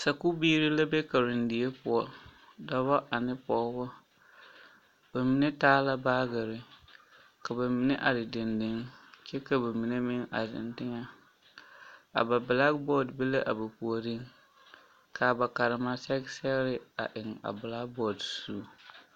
Sakuubiiri la be karendie poɔ dɔba ane pɔgeba ba mine taa la baagere ka ba mine are dendeŋ kyɛ ka ba mine meŋ a zeŋ teŋɛ a ba bilaki bɔɔde be l,a ba puoriŋ k,a ba karema sɛge sɛgre eŋ a bilakibɔɔde zu.